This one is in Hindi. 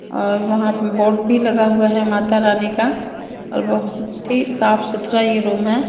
और वहां पे बोर्ड भी लगा हुआ है माता रानी का और बहुत ही साफ सुथरा ये रूम है।